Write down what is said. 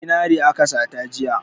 Zinare aka sata jiya.